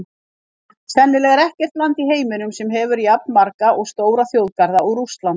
Sennilega er ekkert land í heiminum sem hefur jafnmarga og stóra þjóðgarða og Rússland.